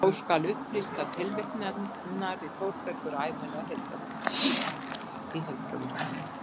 Þó skal upplýst að tilvitnanir í Þórberg eru ævinlega í heildarútgáfuna.